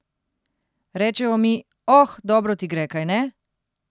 Rečejo mi: 'Oh, dobro ti gre, kajne?